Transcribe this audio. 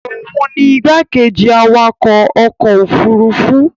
òun ni igbákejì awakọ̀ ọkọ̀ òfurufú